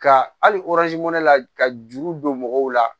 Ka hali la ka juru don mɔgɔw la